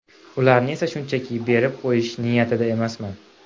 Ularni esa shunchaki berib qo‘yish niyatida emasman.